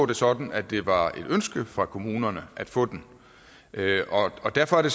det sådan at det var et ønske fra kommunerne at få den og derfor er det